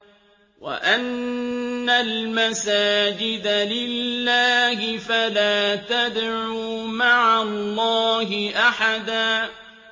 وَأَنَّ الْمَسَاجِدَ لِلَّهِ فَلَا تَدْعُوا مَعَ اللَّهِ أَحَدًا